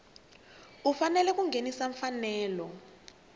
u fanele a nghenisa mfanelo